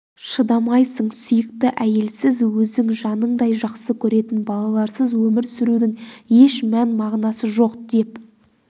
шыдамайсың сүйікті әйелсіз өзің жаныңдай жақсы көретін балаларсыз өмір сүрудің еш мән мағынасы жоқ деп